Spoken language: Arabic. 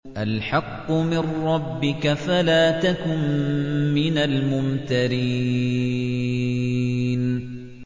الْحَقُّ مِن رَّبِّكَ فَلَا تَكُن مِّنَ الْمُمْتَرِينَ